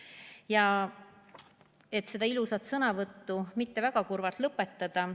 Ei taha küll seda ilusat sõnavõttu väga kurvalt lõpetada.